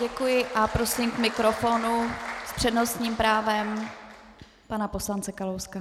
Děkuji a prosím k mikrofonu s přednostním právem pana poslance Kalouska.